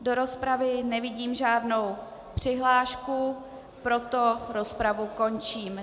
Do rozpravy nevidím žádnou přihlášku, proto rozpravu končím.